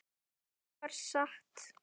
Það var satt.